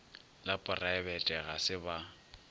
la poraebete ga se ba